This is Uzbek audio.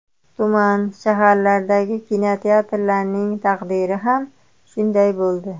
Tuman, shaharlardagi kinoteatrlarning taqdiri ham shunday bo‘ldi.